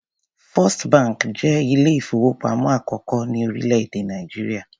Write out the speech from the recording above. First bank jẹ́ ilé-ìfowópamọ́ àkọ́kọ́ ní orílẹ̀-èdè Nàìjíríà.